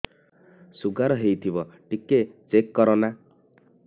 sugar ହେଇଥିବ ଟିକେ check କର ନା